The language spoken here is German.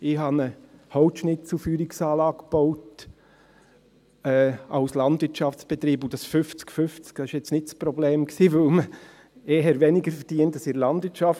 Ich habe als Landwirtschaftsbetrieb eine Holzschnitzelfeuerungsanlage gebaut, und dieses fünfzig-fünfzig war nicht das Problem, weil man mit einem solchen Projekt eher weniger verdient als in der Landwirtschaft.